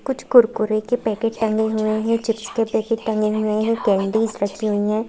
कुछ कुरकुरे के पैकेट टंगे हुए हैं चिप्स के पैकेट टंगे हुए हैं कैंडीज रखी हुई हैं।